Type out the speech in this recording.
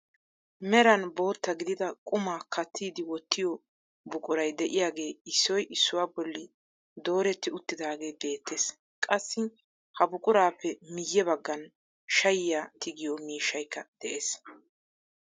Meran bootta gidida qumaa kattidi wottiyoo buquray de'iyaagee issoy issuwaa bolli dooretti uttidagee beettees. qassi ha buqurappe miye baggaan shayiyaa tigiyoo miishshyakka de'ees.